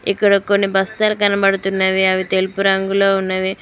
ఇక్కడ కొన్ని బస్తరు కనపడుతున్నవి అవి తెలుపు రంగులో ఉన్నవి.